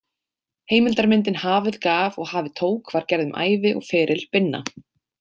Heimildarmyndin Hafið gaf og hafið tók var gerð um ævi og feril Binna.